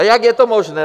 A jak je to možné?